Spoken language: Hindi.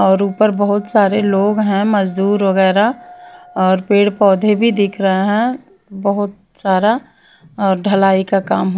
और ऊपर बहुत सारे लोग हैं मजदूर वगैरह और पेड़ पौधे भी दिख रहे हैं बहुत सारा और ढलाई का काम --